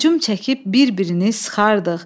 Hücum çəkib bir-birini sıxardıq.